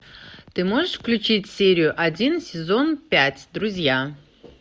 ты можешь включить серию один сезон пять друзья